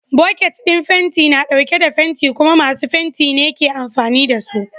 Boket ɗin fenti na ɗauke da fenti kuma masu fenti ne ke amfani da su.